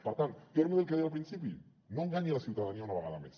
per tant torno a dir el que deia al principi no enganyi la ciutadania una vegada més